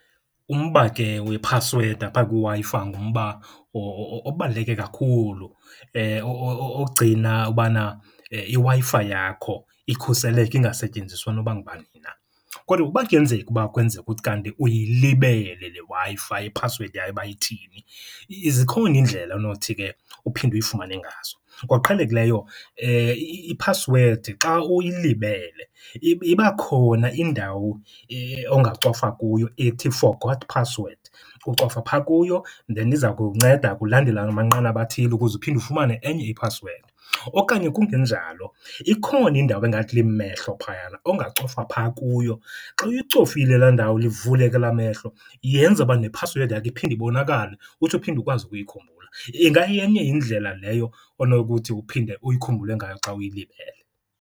Umba ke wephasiwedi apha kwiWi-Fi ngumba obaluleke kakhulu ogcina ubana iWi-Fi yakho ikhuseleke ingasetyenziswa noba ngubani na. Kodwa ukuba kuyenzeka uba kwenzeke kuthi kanti uyilibele le Wi-Fi iphasiwedi yayo uba ithini, zikhona iindlela onothi ke uphinde uyifumane ngazo. Ngokuqhelekileyo iphasiwedi xa uyilibele iba khona indawo ongacofa kuyo ethi forgot password. Ucofa phaa kuyo and then iza kunceda ukulandela amanqanaba athile ukuze uphinde ufumane enye iphasiwedi. Okanye kungenjalo, ikhona indawo engathi limehlo phayana ongacofa phaa kuyo. Xa uyicofile laa ndawo, livuleke elaa mehlo yenza uba nephasiwedi yakho iphinde ibonakale, utsho uphinde ukwazi ukuyikhumbula. Ingayenye indlela leyo onokuthi uphinde uyikhumbule ngayo xa uyilibele.